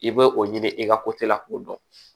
I bɛ o ɲini i ka la k'o dɔn